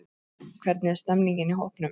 Hvernig stemmningin í hópnum?